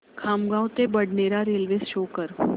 खामगाव ते Badnera railway show कर